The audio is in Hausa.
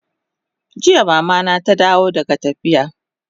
Jiya Mama na ta dawo daga tafiya